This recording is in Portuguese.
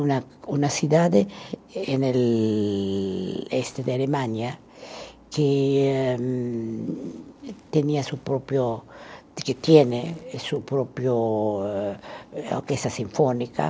Uma, uma cidade da Alemanha que hum tinha sua própria, tem sua própria orquestra sinfônica.